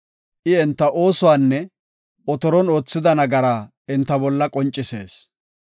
I enta oosuwanne otoron oothida nagaraa enta bolla qoncisees.